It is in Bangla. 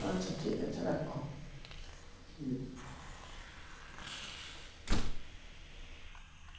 আচ্ছা ঠিকাছে রাখ